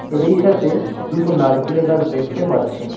এদের সাথে দুটো নারকেল গাছ দেখতে পাচ্ছি।